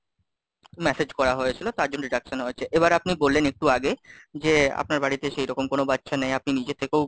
message করা হয়েছিল, তার জন্য deduction হয়েছে, এবার আপনি বললেন একটু আগে, যে আপনার বাড়িতে সেইরকম কোনো বাচ্চা নেই, আপনি নিজে থেকেও,